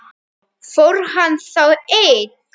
Fór hann þá einn?